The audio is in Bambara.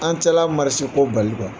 An ko bali